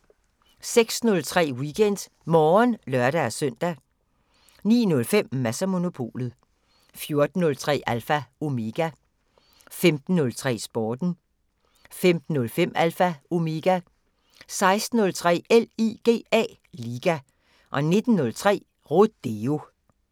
06:03: WeekendMorgen (lør-søn) 09:05: Mads & Monopolet 14:03: Alpha Omega 15:03: Sporten 15:05: Alpha Omega 16:03: LIGA 19:03: Rodeo